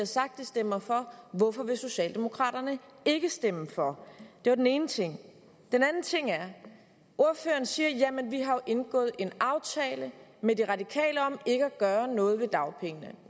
sagt de stemmer for hvorfor vil socialdemokraterne ikke stemme for det var den ene ting den anden ting er at ordføreren siger jamen vi har jo indgået en aftale med radikale venstre om ikke at gøre noget ved dagpengene